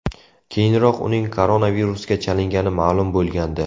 Keyinroq uning koronavirusga chalingani ma’lum bo‘lgandi .